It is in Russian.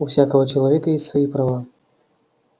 у всякого человека есть свои права